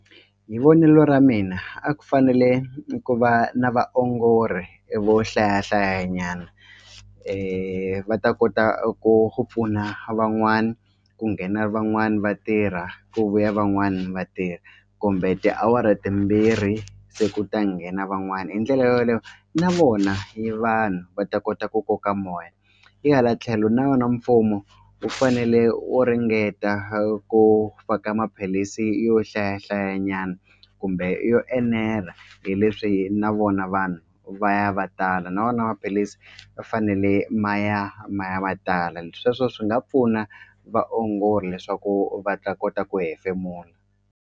Hi vonelo ra mina a ku fanele ku va na vaongori vo hlaya hlayanyana va ta kota ku ku pfuna van'wani ku nghena van'wani vatirha ku vuya van'wani vatirha kumbe tiawara timbirhi se ku ta nghena van'wani hi ndlela yo yoleyo na vona hi vanhu va ta kota ku koka moya hi hala tlhelo na yona mfumo wu fanele wu ringeta ku faka maphilisi yo hlayahlayanyana kumbe yo enela hi leswi na vona vanhu va ya va tala na wona maphilisi va fanele maya maya ma tala sweswo swi nga pfuna vaongori leswaku va ta kota ku hefemula.